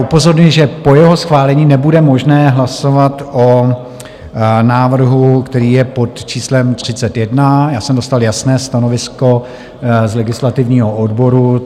Upozorňuji, že po jeho schválení nebude možné hlasovat o návrhu, který je pod číslem 31, já jsem dostal jasné stanovisko z legislativního odboru.